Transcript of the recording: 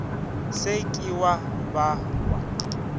se ke wa ba wa